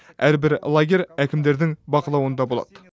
әрбір лагерь әкімдердің бақылауында болады